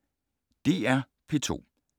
DR P2